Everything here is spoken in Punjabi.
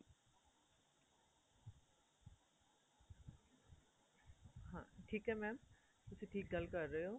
ਹਾਂ ਠੀਕ ਏ mam ਤੁਸੀਂ ਗੱਲ ਕ਼ਰ ਰਹੇ ਓ